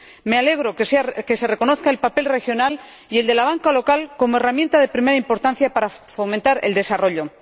Me alegro de que se reconozca el papel de las regiones y el de la banca local como herramienta de primera importancia para fomentar el desarrollo.